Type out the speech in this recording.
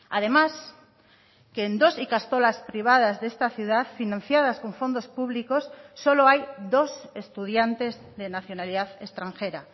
además que en dos ikastolas privadas de esta ciudad financiadas con fondos públicos solo hay dos estudiantes de nacionalidad extranjera